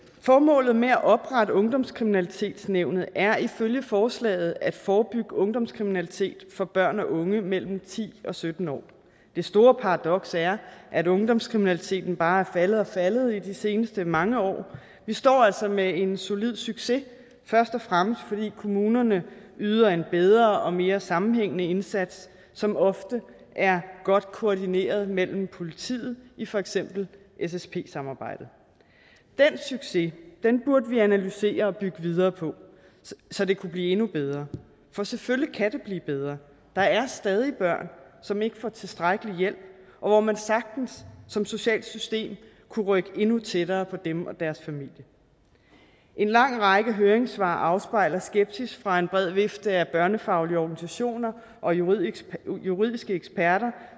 formålet med at oprette ungdomskriminalitetsnævnet er ifølge forslaget at forebygge ungdomskriminalitet for børn og unge mellem ti og sytten år det store paradoks er at ungdomskriminaliteten bare er faldet og faldet i de seneste mange år vi står altså med en solid succes først og fremmest fordi kommunerne yder en bedre og mere sammenhængende indsats som ofte er godt koordineret med politiet i for eksempel ssp samarbejdet den succes burde vi analysere og bygge videre på så det kunne blive endnu bedre for selvfølgelig kan det blive bedre der er stadig børn som ikke får tilstrækkelig hjælp og hvor man sagtens som socialt system kunne rykke endnu tættere på dem og deres familie en lang række høringssvar afspejler skepsis fra en bred vifte af børnefaglige organisationer og juridiske juridiske eksperter